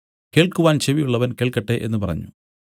കേൾക്കുവാൻ ചെവി ഉള്ളവൻ കേൾക്കട്ടെ എന്നു പറഞ്ഞു